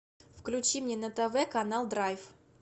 включи мне на тв канал драйв